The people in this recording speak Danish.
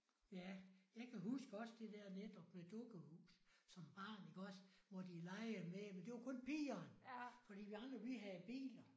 Ja. Jeg kan huske også det der netop med dukkehus som barn iggås hvor de legende med det. Men det var kun pigerne! Fordi vi andre vi havde biler